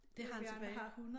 Det har han tilbage